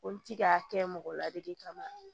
Olu ti ka kɛ mɔgɔ ladili kama